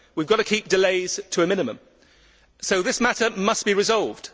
We have to keep delays to a minimum, so this matter must be resolved.